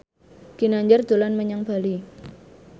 Ginanjar dolan menyang Bali